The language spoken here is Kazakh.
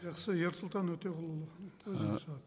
жақсы ерсұлтан өтеғұлұлы өзіңіз